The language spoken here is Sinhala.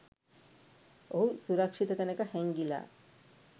ඔහු සුරක්ෂිත තැනක හැංගිලා